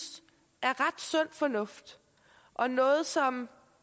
er ret sund fornuft og noget som